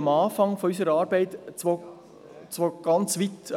Am Anfang unserer Arbeit hatten wir